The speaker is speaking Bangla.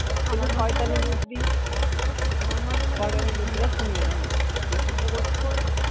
আমার মতে বলে আমার মতে বলে